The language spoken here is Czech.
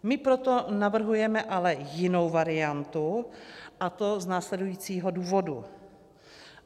My proto navrhujeme ale jinou variantu, a to z následujícího důvodu.